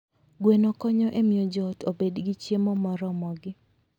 Gweno konyo e miyo joot obed gi chiemo moromogi.